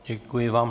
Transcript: Děkuji vám.